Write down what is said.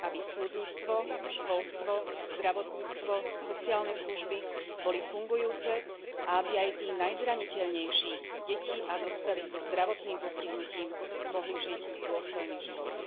Aby súdnictvo, školstvo, zdravotníctvo, sociálne služby boli fungujúce a aby aj tí najzraniteľnejší, deti a dospelí so zdravotným postihnutím, mohli žiť dôstojný život.